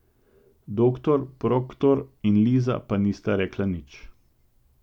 Doktor Proktor in Liza pa nista rekla nič.